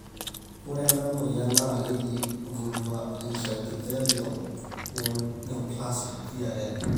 ore ena moyian na keji vulva intraepithelial neoplasia(VIN)